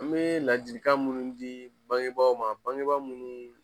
An bee ladilikan munnu di bangebaaw ma bangebaa munnu